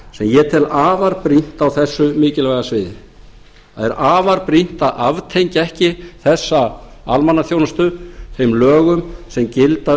sem ég tel afar brýnt á þessu mikilvæga sviði það er afar brýnt að aftengja ekki þessa almannaþjónustu þeim lögum sem gilda